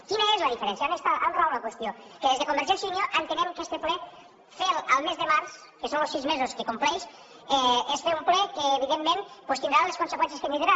quina és la diferència on rau la qüestió que des de convergència i unió entenem que este ple ferlo el mes de març que són los sis mesos que compleix és fer un ple que evidentment doncs tindrà les conseqüències que tindrà